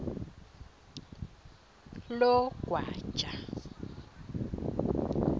logwaja